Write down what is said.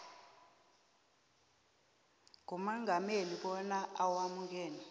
kumongameli bona awamukele